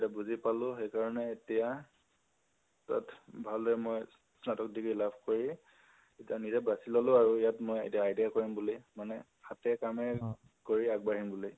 তেতিয়া বুজি পালো, সেইকাৰণে এতিয়া, তাত ভালদৰে মই স্নাতক degree লাভ কৰি , এতিয়া নিজে বাচি ললো আৰু ইয়াত মই ITI কৰিম বুলি । মানে হাতে কামে কৰি আগবাঢ়িম বুলি